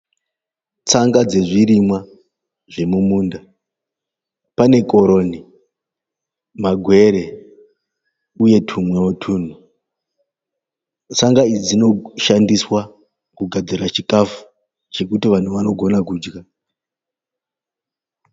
Tsanga dzezvirimwa zvemumunda. Pane koroni, magwere uye tumwewo tunhu . Tsanga idzi dzinoshandiswa kugadzira chikafu chekuti vanhu vanogona kudya.